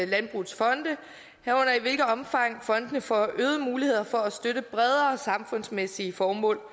landbrugets fonde herunder i hvilket omfang fondene får øgede muligheder for at støtte bredere samfundsmæssige formål